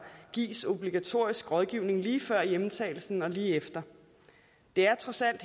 gives obligatorisk rådgivning lige før hjemtagelsen og lige efter det er trods alt